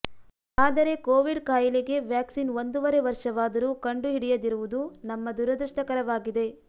ಆದರೆ ಕೋವಿಡ್ ಖಾಯಿಲೆಗೆ ವ್ಯಾಕ್ಸಿನ್ ಒಂದೂವರೆ ವರ್ಷವಾದರೂ ಕಂಡುಹಿಡಿಯದಿರುವುದು ನಮ್ಮ ದುರದೃಷ್ಟಕರವಾಗಿದೆ